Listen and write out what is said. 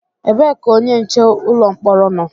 Ebee ka onye nche ụlọ mkpọrọ nọ?